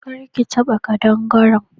Kar ki taba kadangaren.